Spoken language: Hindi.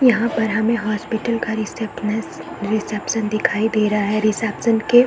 यहाँ पर हमें हॉस्पिटल का रिसेप्शनिस्ट रिसेप्शन रिसेप्शन दिखाई दे रहा है रिसेप्शन के --